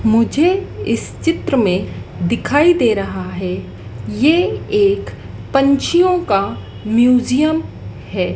मुझे इस चित्र में दिखाई दे रहा है। यह एक पंछियों का म्यूजियम है।